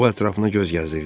Bu ətrafına göz gəzdirdi.